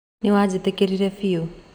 Nĩwajĩtĩkirie biũ